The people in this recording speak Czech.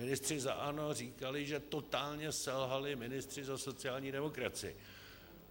Ministři za ANO říkali, že totálně selhali ministři za sociální demokracii.